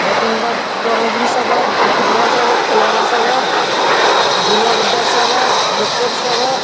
Trophy सब है। Football सब है। खिलौना सब है। गुड़िया-गुड्डा सब है विकेट सब है।